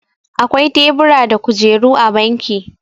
akwai tebura da kujeru a banki